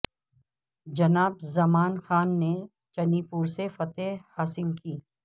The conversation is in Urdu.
جناب زمان خان نے چنی پور سے فتح حاصل کی